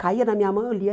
Caía na minha mão e eu lia.